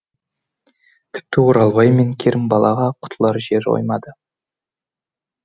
тіпті оралбай мен керімбалаға құтылар жер қоймады